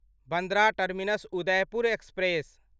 Bandra terminus Udaipur express